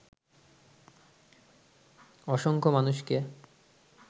অসংখ্য মানুষকে